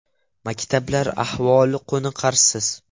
Maktablar ahvoli qoniqarsiz.